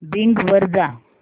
Bing वर जा